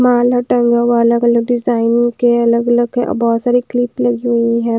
माला टंगा हुआ है अलग-अलग डिज़ाइन के अलग-अलग है और बहुत सारी क्लिप लगी हुई हैं।